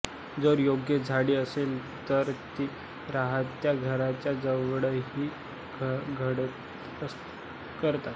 जर योग्य झाडे असेल तर ते राहत्या घराच्या जवळही घरटी करतात